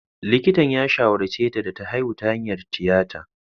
Likitan ya shawarce ta da ta haihu ta hanyar tiyata.